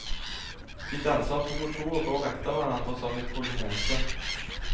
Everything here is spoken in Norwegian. De danser to og to og går etter hverandre som i polonese.